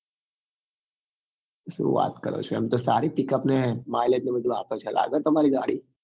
શું વાત કરો છો એમ તો સારી pickup ને mileage ને બધું આપે છે લાગે તમારી ગાડી